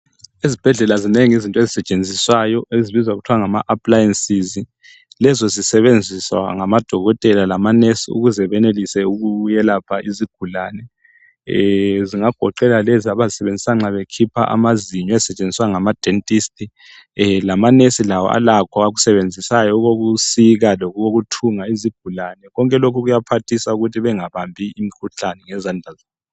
Ezibhedlela zinengi izinto ezisetshenziswayo ezibizwa kuthwa ngama appliances. Izinto lezi zisetshenziswa ngodokotela labo nurse ukwelapha izigulane. Zingagoqela lezi ezisetshenziswa nxa kukhitshwa amazinyo ezisetshenziswa ngama dentist. Lama nurse lawo alakho akusebenzisayo okokusika lokuthunga izigulane. Lokhu kuyaphathisa ukuthi bengabambi imikhuhlane ngezandla zabo.